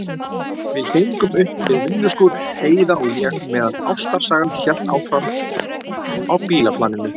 Við héngum upp við vinnuskúr, Heiða og ég, meðan ástarsagan hélt áfram á bílaplaninu.